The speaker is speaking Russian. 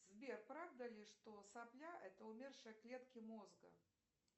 сбер правда ли что сопля это умершие клетки мозга